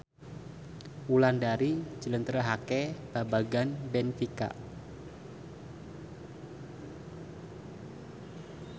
Wulandari njlentrehake babagan benfica